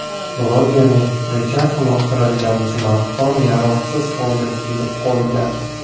Blogerning fikricha, uloqtirilgan smartfon yaroqsiz holga kelib qolgan.